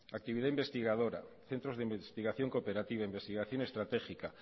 actividad investigadora centros de investigación cooperativa investigación estratégica